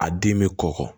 A den bɛ kɔkɔ